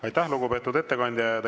Aitäh, lugupeetud ettekandja!